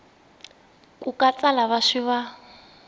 ku katsa lava swi va